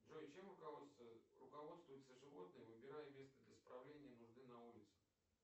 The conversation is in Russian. джой чем руководствуются животные выбирая место для справления нужды на улице